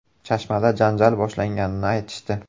Chashmada janjal boshlanganini aytishdi.